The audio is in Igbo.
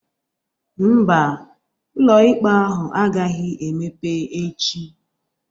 Ḿbà, ụlọikpe ahụ agaghị emepe echi